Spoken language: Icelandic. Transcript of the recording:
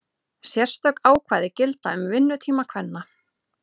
Sérstök ákvæði gilda um vinnutíma kvenna.